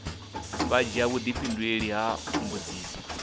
vha dzhia vhudifhinduleli ha mbudziso